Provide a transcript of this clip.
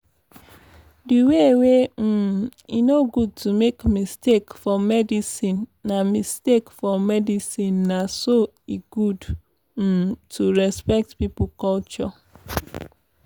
the way wey um e no good to make mistake for medicinena mistake for medicinena so e good um to respect pipo culture.